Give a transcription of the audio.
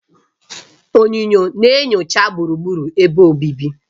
Onyunyo na-enyocha gburugburu ebe obibi.